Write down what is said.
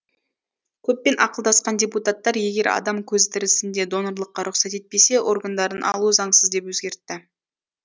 көппен ақылдасқан депутаттар егер адам көзі тірісінде донорлыққа рұқсат етпесе органдарын алу заңсыз деп өзгертті